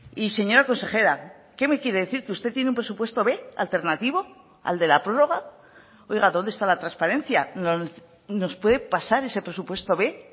y señora consejera qué me quiere decir que usted tiene un presupuesto b alternativo al de la prórroga oiga dónde está la transparencia nos puede pasar ese presupuesto b